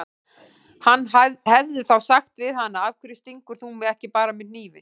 Hann hefði þá sagt við hana: Af hverju stingur þú mig ekki bara með hnífi?